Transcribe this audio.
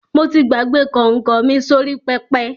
Mo ti gbàgbé kọ̀nkọ̀ mi sórí pẹpẹ.